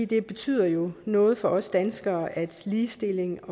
det betyder jo noget for os danskere at ligestilling